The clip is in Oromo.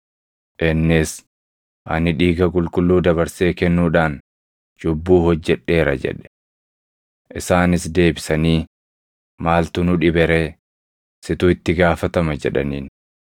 Innis, “Ani dhiiga qulqulluu dabarsee kennuudhaan cubbuu hojjedheera” jedhe. Isaanis deebisanii, “Maaltu nu dhibe ree? Situ itti gaafatama!” jedhaniin.